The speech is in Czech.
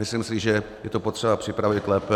Myslím si, že je to potřeba připravit lépe.